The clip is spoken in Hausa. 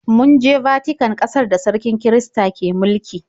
Mun je Vatican, ƙasar da sarkin kirista ke mulki.